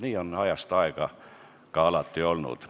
Nii on ajast aega olnud.